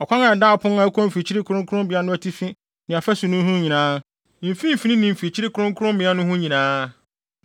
Ɔkwan a ɛda ɔpon a ɛkɔ mfimfini kronkronbea no atifi ne afasu no ho nyinaa, mfimfini ne mfikyiri kronkrommea no ho nyinaa